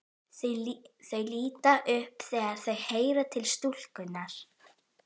Þau líta upp þegar þau heyra til stúlkunnar.